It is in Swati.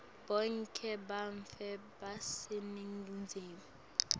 bonkhe bantfu baseningizimu